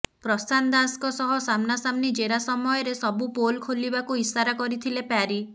ପ୍ରଶାନ୍ତ ଦାସଙ୍କ ସହ ସାମ୍ନାସାମ୍ନି ଜେରା ସମୟରେ ସବୁ ପୋଲ ଖୋଲିବାକୁ ଇସାରା କରିଥିଲେ ପ୍ୟାରୀ